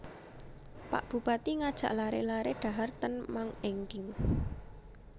Pak Bupati ngajak lare lare dhahar ten Mang Engking